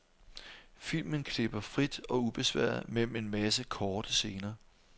Filmen klipper frit og ubesværet mellem en masse korte scener.